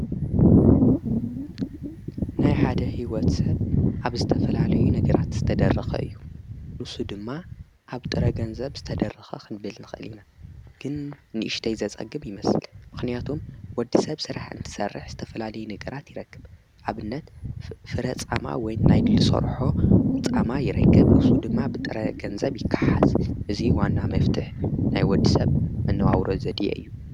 ናይ ሓደ ሕይወት ሰብ ኣብ ዝተፈላለዩ ነግራት ዝተደርኸ እዩ ንሱ ድማ ኣብ ጥረ ገንዘብ ዝተደርኸ ኽንበልንኽእሊና ግን ንእሽደይዘጸግብ ይመስል ምኽንያቶም ወዲ ሰብ ሥራሕ እንትሠርሕ ።ዝተፈላለይ ነገራት ይረክብ ኣብነት ፍረፃማ ወይ ናይ ድልሶርሖ ፃማ ይረክብ እፍሱ ድማ ብጥረ ገንዘብ ይከሓስ እዙይ ዋና መፍትሕ ናይ ወዲ ሰብ መነዋውሮ ዘድየ እዩ።